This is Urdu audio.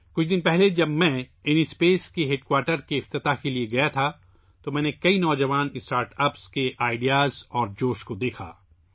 کچھ دن پہلے جب میں اِن اسپیس کے ہیڈ کوارٹر کا افتتاح کرنے گیا تو میں نے بہت سے نوجوان اسٹارٹ اپس کے خیالات اور جوش کو دیکھا